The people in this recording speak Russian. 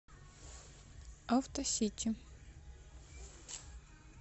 авто сити